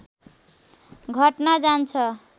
घट्न जान्छ